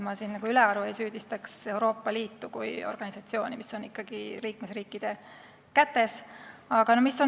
Ma ülearu ei süüdistaks Euroopa Liitu kui organisatsiooni, see on ikkagi liikmesriikide kätes.